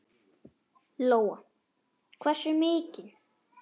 Lóa: Hversu mikil?